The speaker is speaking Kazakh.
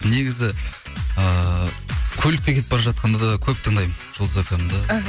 негізі ыыы көлікте кетіп бара жатқанда да көп тыңдаймын жұлдыз фмді іхі